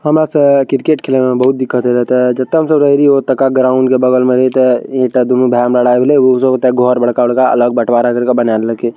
हमा से क्रिकेट खेले में बहुत दिक्क्त हो जाता है तब ग्राउंड के बगल इता इहते दोनों भाई में लड़ाई होइल उ सब घर बड़का-बड़का अलग बटवारा कर के बनई ले के।